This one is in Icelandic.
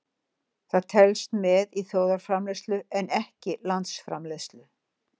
Það telst með í þjóðarframleiðslu en ekki landsframleiðslu.